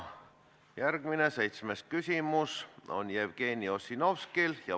Järgmine, seitsmes küsimus on Jevgeni Ossinovskilt.